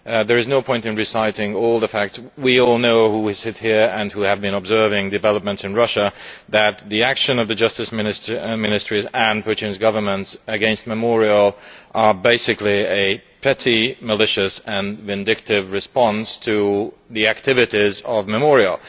There is no point in reciting all the facts we all know, those of us who sit here and who have been observing developments in Russia, that the actions by the Ministry of Justice and Putin's governments against Memorial are basically a petty, malicious and vindictive response to the activities of Memorial.